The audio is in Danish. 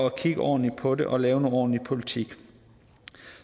at kigge ordentligt på det og lave noget ordentlig politik